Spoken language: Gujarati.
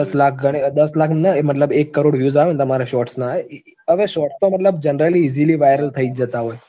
દસ લાખ ગણીએ દસ લાખ નઈ મતલબ એક કરોડ views આવે ને તમારે shorts ના હવે shorts તો મતલબ generally easily viral થઈ જ જતા હોય